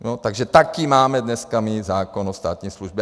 Takže takový máme dneska my zákon o státní službě.